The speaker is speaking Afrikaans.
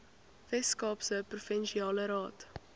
weskaapse provinsiale raad